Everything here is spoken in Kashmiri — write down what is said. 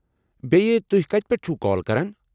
بیٚیہِ، تُہۍ کتہِ پٮ۪ٹھہٕ چھِوٕ كال کران ؟